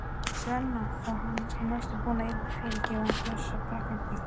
Svenna og hann næstum búinn að fyrirgefa Bjössa prakkarastrikið.